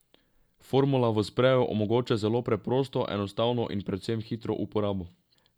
Formula v spreju omogoča zelo preprosto, enostavno in predvsem hitro uporabo.